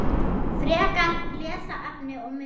Frekara lesefni og myndir